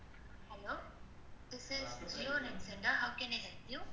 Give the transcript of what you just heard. Hello, this is jio network center. How can I help you?